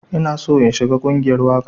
Ina so in shiga ƙungiyar waƙa.